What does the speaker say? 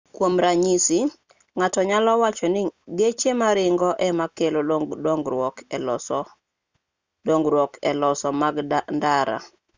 kuom ranyisi ng'ato nyalo wacho ni geche maringo ema kelo dongruok eloso mag ndara